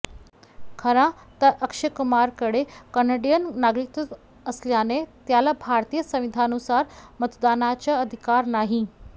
खरं तर अक्षय कुमारकडे कॅनडिअन नागरिकत्व असल्याने त्याला भारतीय संविधानानुसार मतदानाचा अधिकार नाही